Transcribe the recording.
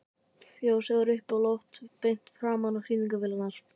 Fjósið var uppi á lofti beint framan við sýningarvélarnar.